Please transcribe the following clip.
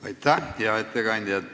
Aitäh, hea ettekandja!